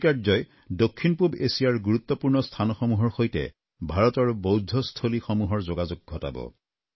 এই কাৰ্যই দক্ষিণ পূব এছিয়াৰ গুৰুত্বপূৰ্ণ স্থানসমূহৰ সৈতে ভাৰতৰ বৌদ্ধস্থলীসমূহৰ যোগাযোগ ঘটাব